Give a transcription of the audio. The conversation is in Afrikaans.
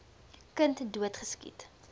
kind dood geskiet